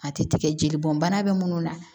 A tɛ tigɛ jeli bɔn bana be munnu na